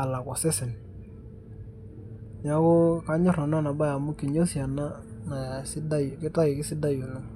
alak osesen. Neeku kanyor nanu ena bae amu kinyosi ena nasidai kitayu kadidai oleng'.